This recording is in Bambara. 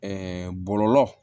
bɔlɔlɔ